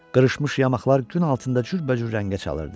Qırışmış yamaxlar gün altında cürbəcür rəngə çalırdı.